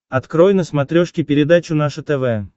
открой на смотрешке передачу наше тв